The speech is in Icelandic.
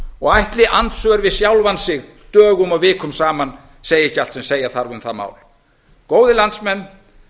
og ætli andsvör við sjálfan sig dögum og vikum saman segi allt sem segja þarf um það mál góðir landsmenn